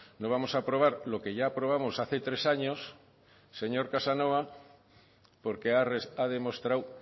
no vamos a aprobar lo que ya aprobamos hace tres años señor casanova porque ha demostrado